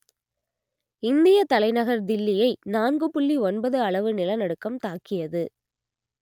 இந்தியத் தலைநகர் தில்லியை நான்கு புள்ளி ஒன்பது அளவு நிலநடுக்கம் தாக்கியது